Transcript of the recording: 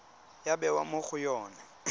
ya bewa mo go yone